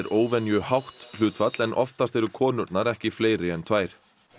óvenju hátt hlutfall oftast séu konurnar ekki fleiri en tvær